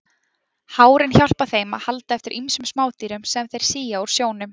Hárin hjálpa þeim að halda eftir ýmsum smádýrum sem þeir sía úr sjónum.